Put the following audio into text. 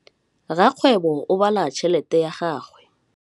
Rakgwêbô o bala tšheletê ya gagwe.